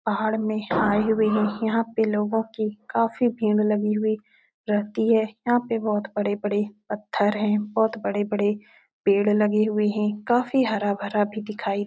पहाड़ में आए हुए हैं। यहाँ पे लोगों की काफी भीड़ लगी हुई रहती हैं। यहाँ पे बोहोत बड़े-बड़े पत्थर हैं बोहोत बड़े-बड़े पेड़ लगे हुए हैं। काफी हरा-भरा भी दिखाई --